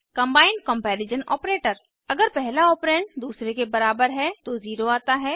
combined comparison operator अगर पहला operand दूसरे के बराबर है तो 0 आता है